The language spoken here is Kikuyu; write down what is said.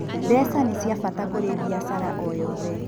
Mbeca nĩ cia bata kũrĩ biacara o yothe.